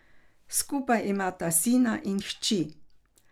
Skupaj imata sina in hči.